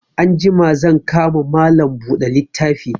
Anjima zan ka ma Malam buɗe littafi